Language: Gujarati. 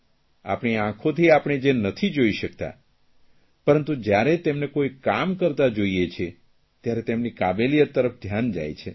આપણી આંખોતી આપણે જે નથી જોઇ શકતા પરંતુ જયારે તેમને કોઇ કામ કરતા જોઇએ છીએ ત્યારે તેમની કાબેલિયત તરફ ધ્યાન જાય છે